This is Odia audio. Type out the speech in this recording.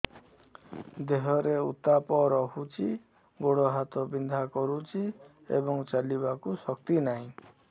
ଦେହରେ ଉତାପ ରହୁଛି ଗୋଡ଼ ହାତ ବିନ୍ଧା କରୁଛି ଏବଂ ଚାଲିବାକୁ ଶକ୍ତି ନାହିଁ